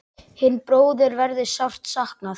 Hinna bróður verður sárt saknað.